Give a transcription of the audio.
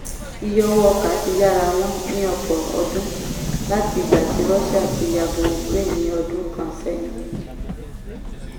iye owó ọkà ti yára wọ́n ní ọ̀pọ̀ ọdún láti ìgbà tí russia ti yabo ukraine ní ọdún kan sẹ́yìn